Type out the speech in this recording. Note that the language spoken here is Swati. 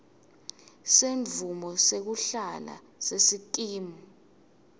semvumo yekuhlala yesikimu